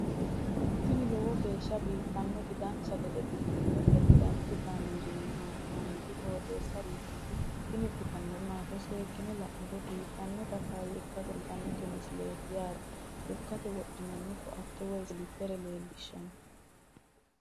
tini lowo geeshsha biiffannoti dancha gede biiffanno footo danchu kaameerinni haa'noonniti qooxeessa biiffannoti tini kultannori maatiro seekkine la'niro biiffannota faayya ikkase kultannoke misileeti yaate lekkate wodhinanni koatte woy siliphere leelishshanno